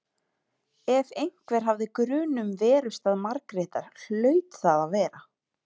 Ef einhver hafði grun um verustað Margrétar hlaut það að vera